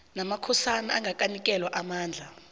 namakhosana angakanikelwa amandla